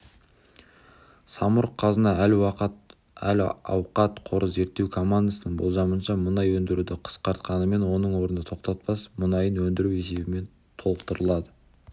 самұрық-қазына әл-ауқат қоры зерттеу командасының болжамынша мұнай өндіруді қысқартқанымен оның орны тақтатас мұнайын өндіру есебімен толықтырылады